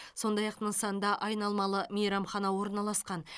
сондай ақ нысанда айналмалы мейрамхана орналасқан